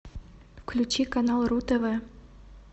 включи канал ру тв